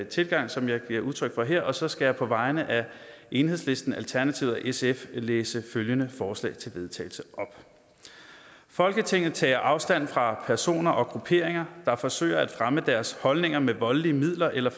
tilgang som jeg giver udtryk for her og så skal jeg på vegne af enhedslisten alternativet og sf oplæse følgende forslag til vedtagelse folketinget tager afstand fra personer og grupperinger der forsøger at fremme deres holdninger med voldelige midler eller